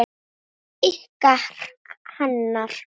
Ykkar Hanna.